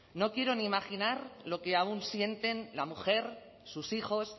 no quiero ni imaginar lo que aún sienten la mujer sus hijos